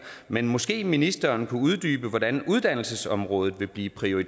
men måske ministeren kunne uddybe hvordan uddannelsesområdet vil blive prioriteret